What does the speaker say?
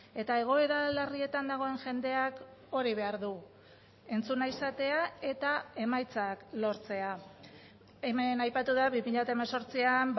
eta egoera larrietan dagoen jendeak hori behar du entzuna izatea eta emaitzak lortzea hemen aipatu da bi mila hemezortzian